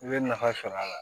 I bɛ nafa sɔrɔ a la